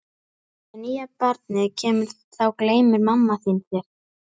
Þegar nýja barnið kemur þá gleymir mamma þín þér.